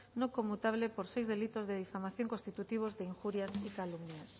no conmutable por seis delitos de difamación constitutivos de injurias y calumnias